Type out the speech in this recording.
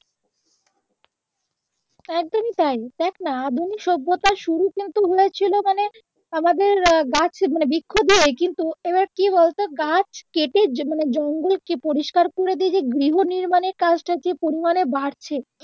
একদমই তাই তুই দেখনা আধুনিক সভ্যতার শুরু কিন্তু হয়েছিলো মানে আমাদের আহ গাছ মানে বৃক্ষ দিয়েই কিন্তু এইবার কি বলতো গাছ কেটে মানে জঙ্গলকে পরিষ্কার করে দিয়ে গৃহ নির্মাণের কাজটা যে পরিমানে বাড়ছে